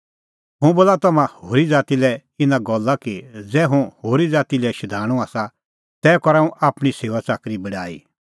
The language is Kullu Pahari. हुंह बोला तम्हां होरी ज़ाती लै इना गल्ला कि ज़ै हुंह होरी ज़ाती लै शधाणूं आसा तै करा हुंह आपणीं सेऊआच़ाकरीए बड़ाई